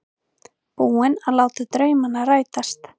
Búinn að láta draumana rætast.